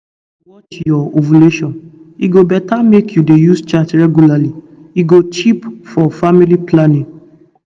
if you if you dey watch your ovulation e go better make you dey use chart regularly e go cheap for family planning.